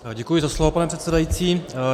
Děkuji za slovo, pane předsedající.